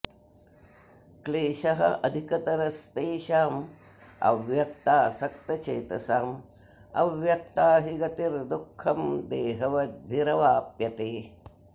क्लेशः अधिकतरः तेषाम् अव्यक्तासक्तचेतसाम् अव्यक्ता हि गतिः दुःखं देहवद्भिः अवाप्यते